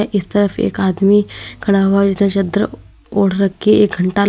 इस तरफ एक आदमी खड़ा हुआ चादर ओढ़ रखी है एक घंटा--